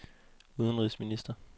udenrigsminister